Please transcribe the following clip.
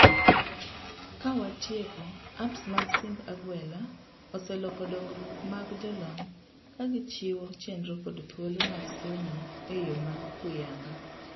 Ka watieko, apps mag simb agwela osee loko dongruok mag jolony kagichiwo chenro kod thuolo mag somo eyoo mohuyanga..